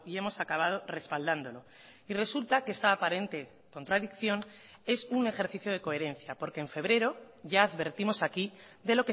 hemos acabado respaldándolo y resulta que esta aparente contradicción es un ejercicio de coherencia porque en febrero ya advertimos aquí de